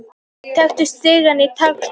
Tekur stigann traustataki.